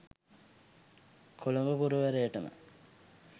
Colombo පුරවරයටම